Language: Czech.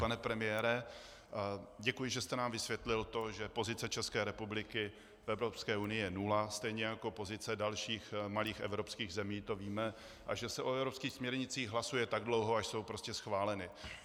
Pane premiére, děkuji, že jste nám vysvětlil to, že pozice České republiky v Evropské unii je nula, stejně jako pozice dalších malých evropských zemí, to víme, a že se o evropských směrnicích hlasuje tak dlouho, až jsou prostě schváleny.